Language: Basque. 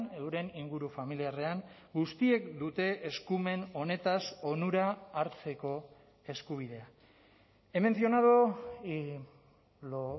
euren inguru familiarrean guztiek dute eskumen honetaz onura hartzeko eskubidea he mencionado y lo